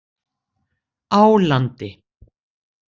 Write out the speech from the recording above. Álandi